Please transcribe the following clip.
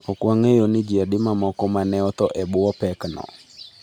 Ok wang’eyo ni ji adi mamoko ma ne otho e bwo pekno.